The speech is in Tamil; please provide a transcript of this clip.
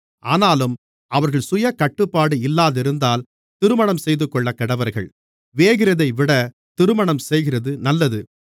ஆனாலும் அவர்கள் சுயக்கட்டுப்பாடு இல்லாதிருந்தால் திருமணம்செய்துகொள்ளக்கடவர்கள் வேகிறதைவிட திருமணம்செய்கிறது நல்லது